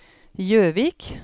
Gjøvik